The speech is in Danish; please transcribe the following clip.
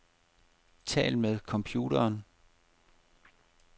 Tal med computeren.